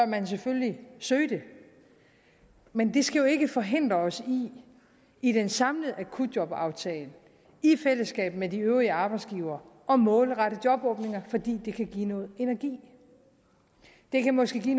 man selvfølgelig søge det men det skal jo ikke forhindre os i i den samlede akutjobaftale i fællesskab med de øvrige arbejdsgivere at målrette jobåbninger fordi det kan give noget energi det kan måske